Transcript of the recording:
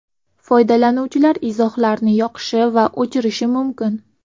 Foydalanuvchilar izohlarni yoqishi va o‘chirishi mumkin.